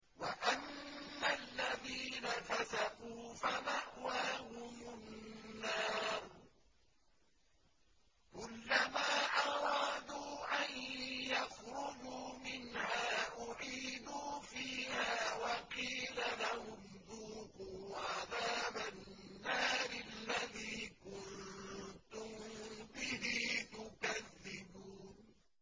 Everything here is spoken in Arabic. وَأَمَّا الَّذِينَ فَسَقُوا فَمَأْوَاهُمُ النَّارُ ۖ كُلَّمَا أَرَادُوا أَن يَخْرُجُوا مِنْهَا أُعِيدُوا فِيهَا وَقِيلَ لَهُمْ ذُوقُوا عَذَابَ النَّارِ الَّذِي كُنتُم بِهِ تُكَذِّبُونَ